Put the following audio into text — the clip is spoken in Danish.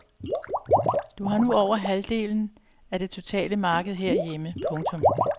De har nu over halvdelen af det totale marked herhjemme. punktum